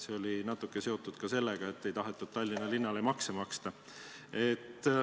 See oli natuke seotud ka sellega, et ei tahetud Tallinnale makse maksta.